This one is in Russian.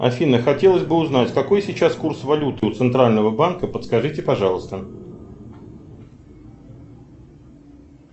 афина хотелось бы узнать какой сейчас курс валюты у центрального банка подскажите пожалуйста